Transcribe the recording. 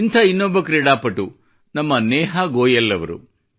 ಇಂಥ ಇನ್ನೊಬ್ಬ ಕ್ರೀಡಾಪಟು ನಮ್ಮ ನೇಹಾ ಗೋಯಲ್ ಅವರು